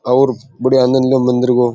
और बढ़िया आनद लो मंदिर को।